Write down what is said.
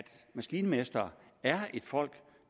maskinmestre er et folk